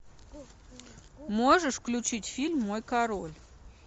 можешь включить фильм мой король